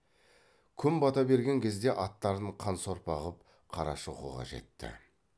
күн бата берген кезде аттарын қан сорпа қып қарашоқыға жетті